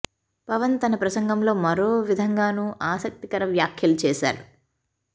పవన్ తన ప్రసంగంలో మరో విధంగానూ ఆసక్తి కర వ్యాఖ్యలు చేసారు